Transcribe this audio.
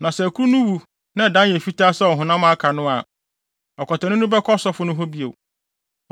Na sɛ akuru no wu na ɛdan yɛ fitaa sɛ ɔhonam a aka no a, ɔkwatani no bɛkɔ ɔsɔfo no hɔ bio.